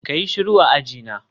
kayi shiru a ajina